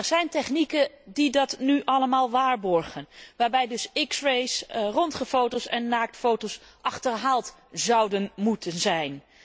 Er zijn technieken die dat nu allemaal waarborgen, waarbij x rays, röntgenfoto's en naaktfoto's dus achterhaald zouden moeten zijn.